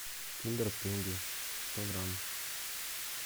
киндер пингви сто грамм